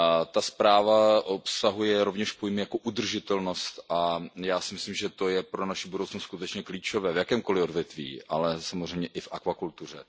Ta zpráva obsahuje rovněž pojem jako udržitelnost a já si myslím, že to je pro naši budoucnost skutečně klíčové v jakémkoli odvětví, ale samozřejmě i v akvakultuře.